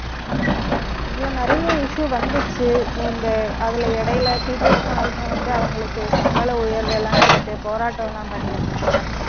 இதுல நிறைய issue வந்துச்சு. நீ இந்த அதுல, இடையில, teachers மாருங்க வந்து, அவங்களுக்கு சம்பள உயர்வெல்லாம் கேட்டு போராட்டம் எல்லாம் பண்ணியிருந்தாங்க